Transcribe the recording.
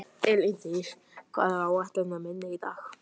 Elíndís, hvað er á áætluninni minni í dag?